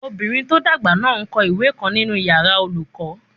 Ọmọbìnrin tó dàgbà náà n kọ ìwé kan nínu yàrá olùkọ́